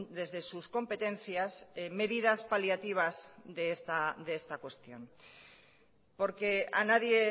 desde sus competencias medidas paliativas de esta cuestión porque a nadie